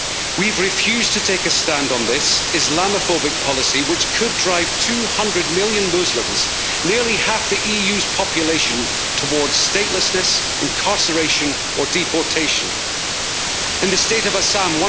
We have refused to take a stand on this Islamophobic policy which could drive 200 million Muslims nearly half the EU's population toward statelessness, incarceration or deportation. In the state of Assam,